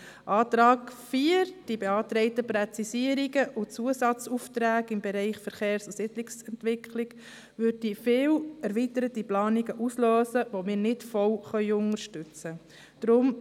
Der Antrag 4 beziehungsweise die beantragten Präzisierungen und Zusatzaufträge im Bereich Verkehrs- und Siedlungsentwicklung würden viele erweiterte Planungen auslösen, die wir nicht vollumfänglich unterstützen können.